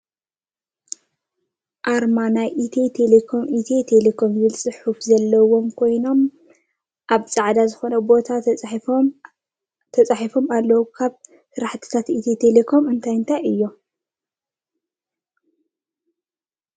ኣርማ ናይ ኢትዮ ቴለኮም ኢትዮ ቴለኮም ዝብል ፅሑፍን ዘለዋ ኮይና ኣብ ፃዕዳ ዝኮነ ቦታ ተፃሒፉ ኣሎ ካብ ስራሕትታት ኢትዮ ተለኮም እንታይ እንታይ እዩም?